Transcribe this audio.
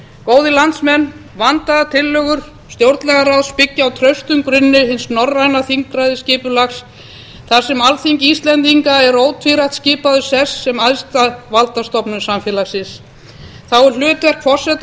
góðir landsmenn vandaðar tillögur stjórnlagaráðs byggja á traustum grunni hins norræna þingræðisskipulags þar sem alþingi íslendinga er ótvírætt skipaður sess sem æðstu valdastofnunar samfélagsins þá er hlutverk forseta